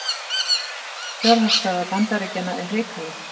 Fjárhagsstaða Bandaríkjanna er hrikaleg